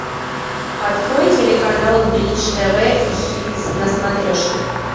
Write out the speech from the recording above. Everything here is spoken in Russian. открой телеканал бридж тв хитс на смотрешке